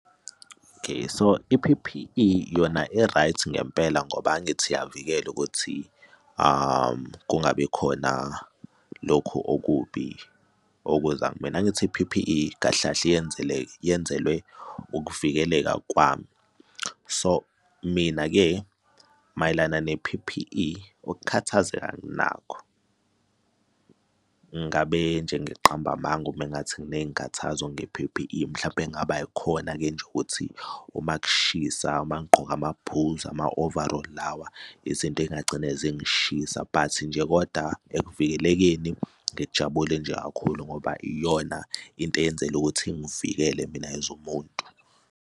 Okay, so i-P_P_E yona i-right ngempela ngoba angithi uyavikela ukuthi kungabi khona lokhu okubi, ukuza kumina. Angithi i-P_P_E kahle kahle yenzele yenzelwe ukuvikeleka kwami. So mina-ke mayelana ne-P_P_E ukukhathazeka anginakho. Ngabe nje ngiqamba amanga uma ngathi nginey'nkathazo nge-P_P_E mhlawumpe kungaba yikhona-ke nje ukuthi uma kushisa, uma ngigqoke amabhuzu, ama-overall lawa, izinto ezingagcine zingishiya but nje koda ekuvikelekeni ngijabule nje kakhulu ngoba iyona into eyenzela ukuthi ingivikele mina as umuntu.